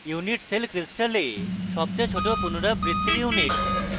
unit cell crystal সবচেয়ে ছোট পুনরাবৃত্তির unit